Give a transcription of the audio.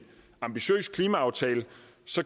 ambitiøs klimaaftale